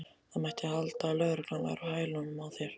Það mætti halda að lögreglan væri á hælunum á þér!